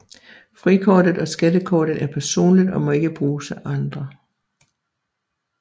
Frikortet og skattekortet er personligt og må ikke bruges af andre